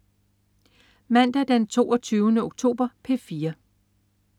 Mandag den 22. oktober - P4: